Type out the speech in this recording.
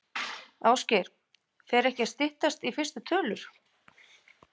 Ásgeir, fer ekki að styttast í fyrstu tölur?